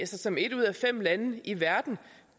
som et ud af fem lande i verden